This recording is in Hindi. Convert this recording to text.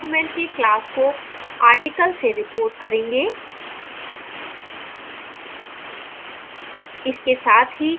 अब हम इस document के class को article से report करेंगे